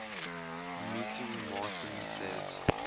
meeting martin says